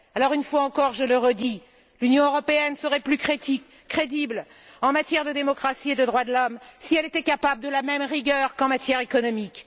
Une fois encore, je le redis, l'Union européenne serait plus crédible en matière de démocratie et de droits de l'homme si elle était capable de la même rigueur qu'en matière économique.